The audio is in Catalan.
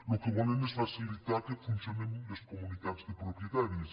el que volen és facilitar que funcionen les comunitats de propietaris